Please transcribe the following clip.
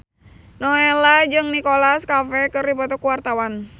Nowela jeung Nicholas Cafe keur dipoto ku wartawan